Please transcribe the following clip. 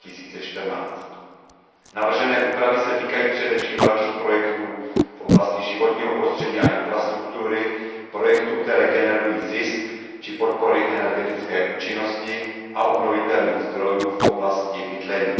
2014. Navržené úpravy se týkají především velkých projektů v oblasti životního prostředí a infrastruktury, projektů, které generují zisk, či podpory energetické účinnosti a obnovitelných zdrojů v oblasti bydlení.